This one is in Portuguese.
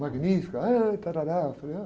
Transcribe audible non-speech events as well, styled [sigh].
Magnífica, êh... [unintelligible] Eu falei, ah